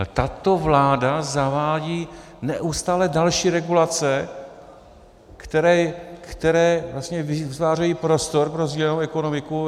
Ale tato vláda zavádí neustále další regulace, které vlastně vytvářejí prostor pro sdílenou ekonomiku.